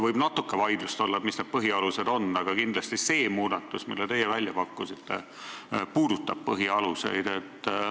Võib natuke vaidlusi olla, mis need põhialused on, aga kindlasti see muudatus, mille teie välja pakkusite, puudutab põhialuseid.